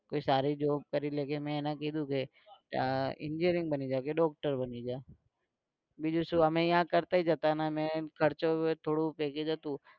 કોઈ સારી job કરી લે કે મે એને કીધું કે આહ engineering બની જા કે doctor બની જા. બીજું શું અમે અહીંયા કરતાઈ જતાં અને અમે ખર્ચો ને થોડું ભેગું થતું.